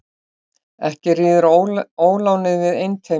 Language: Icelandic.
Ekki ríður ólánið við einteyming.